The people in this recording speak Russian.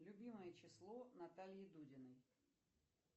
любимое число натальи дудиной